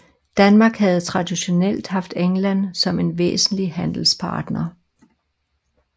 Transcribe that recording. Danmark havde traditionelt haft England som en væsentlig handelspartner